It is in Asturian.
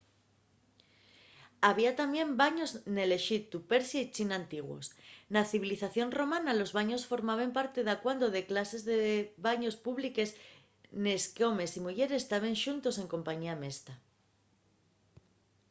había tamién baños nel exiptu persia y china antiguos. na civilización romana los baños formaben parte dacuando de cases de baños públiques nes qu’homes y muyeres taben xuntos en compañía mesta